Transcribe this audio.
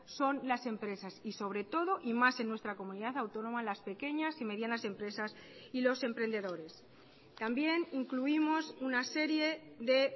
son las empresas y sobre todo y más en nuestra comunidad autónoma las pequeñas y medianas empresas y los emprendedores también incluimos una serie de